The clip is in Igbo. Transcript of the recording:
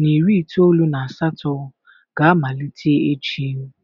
na iri itoolu na asatọ ga-amalite echi.